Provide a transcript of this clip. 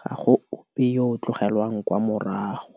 ga go ope yo o tlogelwang kwa morago.